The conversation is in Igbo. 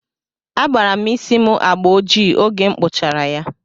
Agbara m isí m agbà ojii oge m kpụchara ya.